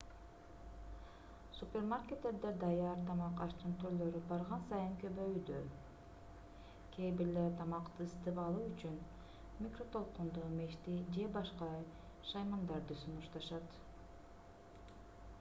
супермаркеттерде даяр тамак-аштын түрлөрү барган сайын көбөйүүдө кээ бирлери тамакты ысытып алуу үчүн микротолкундуу мешти же башка шаймандарды сунушташат